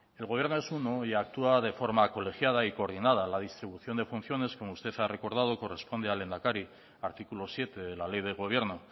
el gobierno es uno y actúa de forma colegiada y coordinada la distribución de funciones como usted ha recordado corresponde al lehendakari artículo siete de la ley de gobierno